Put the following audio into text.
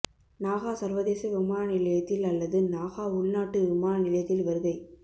நாஹா சர்வதேச விமான நிலையத்தில் அல்லது நாஹா உள்நாட்டு விமான நிலையத்தில் வருகை